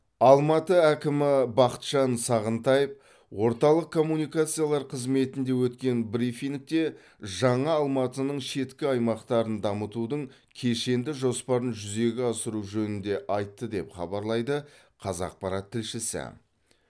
алматы әкімі бақытжан сағынтаев орталық коммуникациялар қызметінде өткен брифингте жаңа алматының шеткі аймақтарын дамытудың кешенді жоспарын жүзеге асыру жөнінде айтты деп хабарлайды қазақпарат тілшісі